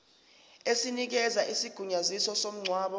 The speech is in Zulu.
esinikeza isigunyaziso somngcwabo